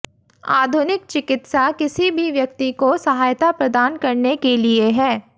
आधुनिक चिकित्सा किसी भी व्यक्ति को सहायता प्रदान करने के लिए है